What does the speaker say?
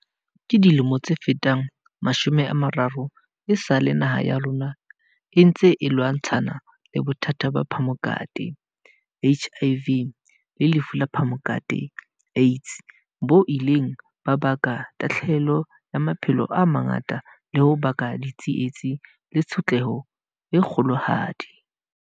Ka dilemo tse fetang mashome a mararo, esale naha ya rona e ntse e lwantshana le bothata ba phamokate, HIV, le lefu la phamokate, AIDS, bo ileng ba baka tahlahelo ya maphelo a mangata le ho baka ditsietsi le tshotleho e kgolohadi.